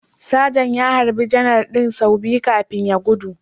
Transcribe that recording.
Sajan ya harbi Janar din sau biyu kafin ya gudu